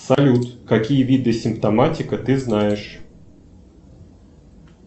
салют какие виды симптоматика ты знаешь